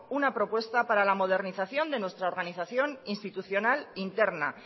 una propuesta para la modernización de nuestra organización institucional interna